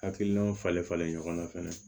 Hakilinaw falen falenlen ɲɔgɔn na fɛnɛ